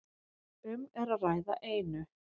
Um er að ræða einu